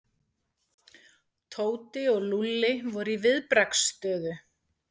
Tóti og Lúlli voru í viðbragðsstöðu.